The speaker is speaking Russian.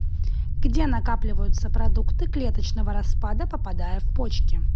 где накапливаются продукты клеточного распада попадая в почки